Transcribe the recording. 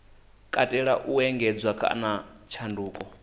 katela u engedzedzwa kana tshanduko